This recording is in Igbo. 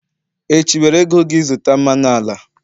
echi, were ego gi zụta mmanụ ala!